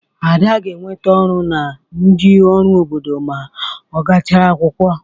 Ada ga-enweta ọrụ na ndị ọrụ obodo ma ọ gachara akwụkwọ.